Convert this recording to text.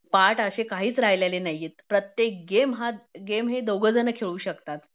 part अशे काहीच राहिलेले नाहीएत प्रत्येक गेम हे दोघ जण खेळू शकतात